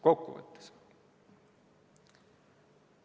Kokkuvõtteks.